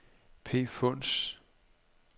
Pfunds